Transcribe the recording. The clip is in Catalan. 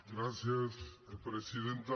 gràcies presidenta